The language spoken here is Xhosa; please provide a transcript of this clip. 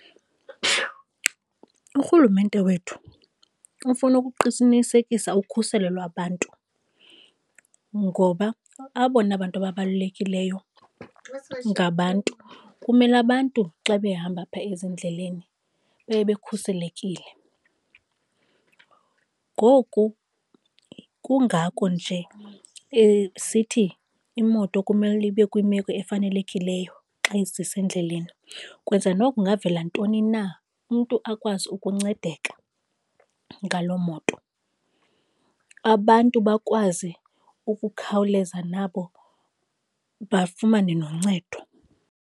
Urhulumente wethu ufuna ukuqinisekisa ukhuselo lwabantu, ngoba abona bantu ababalulekileyo ngabantu. Kumele abantu xa behamba apha ezindleleni baye bekhuselekile. Ngoku kungako nje esithi imoto kumele ibe kwimeko efanelekileyo xa isisendleleni ukwenzela noba kungavela ntoni na umntu akwazi ukuncedeka ngaloo moto, abantu bakwazi ukukhawuleza nabo bafumane noncedo.